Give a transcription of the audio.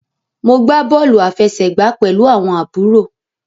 Mo gbà bóòlù àfẹsẹ̀gbá pẹlú àwọn àbúrò.